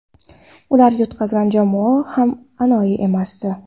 Ular yutqazgan jamoa ham anoyi emasdi.